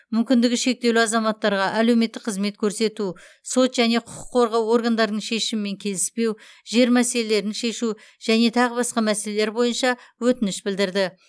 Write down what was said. мүмкіндігі шектеулі азаматтарға әлеуметтік қызмет көрсету сот және құқық қорғау органдарының шешімімен келіспеу жер мәселелерін шешу және тағы басқа мәселелер бойынша өтініш білдірді